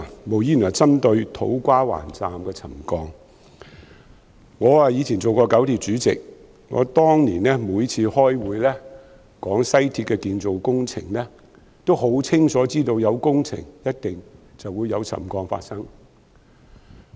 我以前曾出任九廣鐵路公司主席，當年我每次開會討論西鐵的建造工程時，都很清楚知道有工程便一定會有沉降發生。